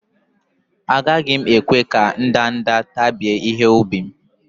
Agaghi m ekwe ka ndanda wakpo ihe-ubi m